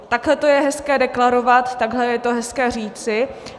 Takhle to je hezké deklarovat, takhle je to hezké říci.